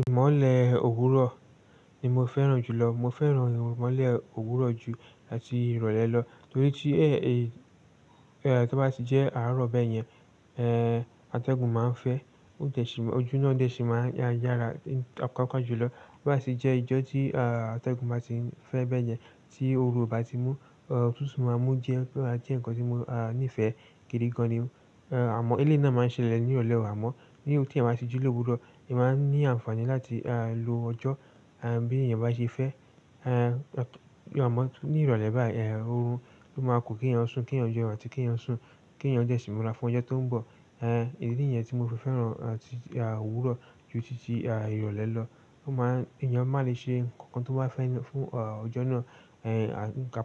Ìmọ̀lẹ̀ òwúrọ̀ ni mo fẹ́ràn jùlọ. Mo fẹ́ràn ìmọ̀lẹ̀ òwúrọ̀ jù àti ìrọ̀lẹ́ lọ nítorí tí ẹ́ ẹ tí bá sì jẹ́ àárọ̀ bẹ́ẹ̀ yẹn, ẹ́ atẹ́gùn máa ń fẹ́, ó jẹ́ṣìn ọjú náà dé ṣìn máa ń yára paapa jùlọ. Bí bá sì jẹ́ ìjọ tí àtẹ́gùn bá sì ń fẹ́ bẹ́ẹ̀ yẹn tí oru o bá ti mú, ọ̀tutu máa mú jẹ́ pé a jẹ́ ǹkan tí mo a níìfẹ́ gidi gan ni. Àmọ́ ilé náà máa ń ṣẹlẹ̀ ní ìrọ̀lẹ́ òwámọ́. Ti eyan bati ji ni òwúrọ̀ o man ni àǹfààní láti lo ojo bi eyan base fe, ni ìrọ̀lẹ́ bayi, o man ku ki eyan sun ki eyan desi múra fún oye ti o n bo idí yẹn tí mo fi fẹ́ràn àti òwúrọ̀ ju títí à ìrọ̀lẹ́ lọ. Ó máa ń èèyàn máa le ṣe nǹkan tó bá fẹ́ fún ọ̀ ọjọ́ náà.